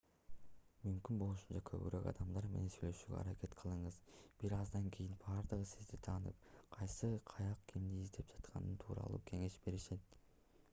мүмкүн болушунча көбүрөөк адамдар менен сүйлөшүүгө аракет кылыңыз бир аздан кийин баардыгы сизди таанып кайсы кайык кимди издеп жаткандыгы тууралуу кеңеш беришет